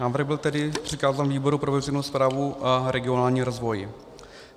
Návrh byl tedy přikázán výboru pro veřejnou správu a regionální rozvoj.